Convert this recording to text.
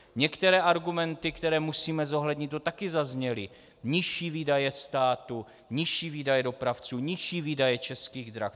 Některé argumenty, které musíme zohlednit, tu také zazněly: nižší výdaje státu, nižší výdaje dopravců, nižší výdaje Českých drah.